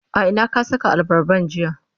a Ina ka Saka abarban jiya?